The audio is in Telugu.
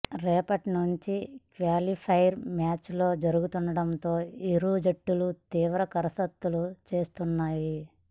రేపటి నుంచి క్యాలిఫైర్ మ్యాచ్ లు జరుగుతుండటంతో ఇరు జట్లు తీవ్ర కసరత్తు చేస్తున్నాయి